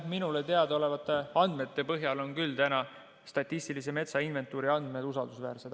Minule teadaolevate andmete põhjal on küll täna statistilise metsainventuuri andmed usaldusväärsed.